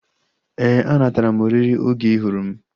Éè, a natara m oriri oge ị hụrụ m